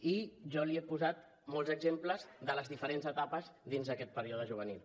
i jo li he posat molts exemples de les diferents etapes dins d’aquest període juvenil